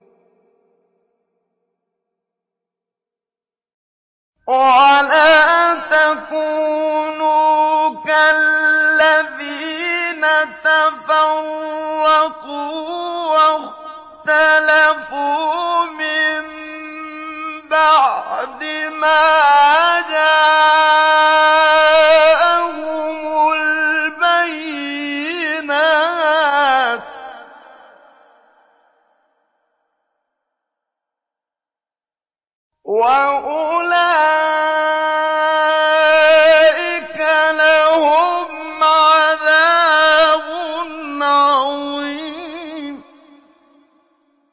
وَلَا تَكُونُوا كَالَّذِينَ تَفَرَّقُوا وَاخْتَلَفُوا مِن بَعْدِ مَا جَاءَهُمُ الْبَيِّنَاتُ ۚ وَأُولَٰئِكَ لَهُمْ عَذَابٌ عَظِيمٌ